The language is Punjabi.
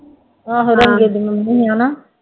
ਆਂਹੋ ਰੰਗੇ ਦੀ ਮੰਮੀ ਹੈ ਨਾ